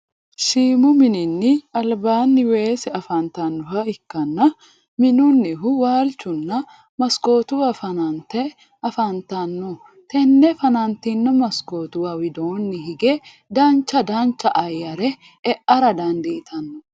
Shiimu minni alibaani weese afantanoha ikanna minnunihu walichuna masikootuwa fanante afantanno tenne fanantino masikootuwa widoonni higge dancha dancha ayare e'ara dandiitanno.